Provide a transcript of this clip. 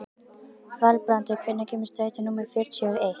Valbrandur, hvenær kemur strætó númer fjörutíu og eitt?